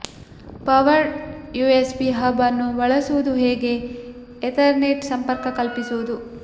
powered USB hub ಅನ್ನು ಬಳಸುವುದು ಹೇಗೆ ಎತರ್ನೆಟ್ಗೆ ಸಂಪರ್ಕ ಕಲ್ಪಿಸುವುದು